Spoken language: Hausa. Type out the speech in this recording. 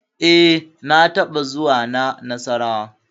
E, na taɓa zuwa na Nassarawa.